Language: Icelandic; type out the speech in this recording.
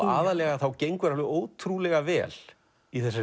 aðallega gengur ótrúlega vel í þessari